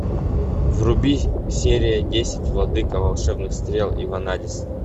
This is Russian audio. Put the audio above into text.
вруби серия десять владыка волшебных стрел и ванадис